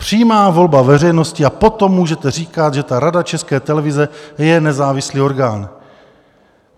Přímá volba veřejností a potom můžete říkat, že ta Rada České televize je nezávislý orgán.